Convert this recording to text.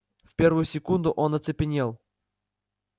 в первую секунду он оцепенел